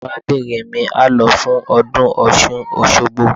Arábìnrin mi á lọ fún ọdún Ọ̀ṣun Òṣogbo.